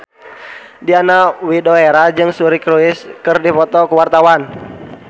Diana Widoera jeung Suri Cruise keur dipoto ku wartawan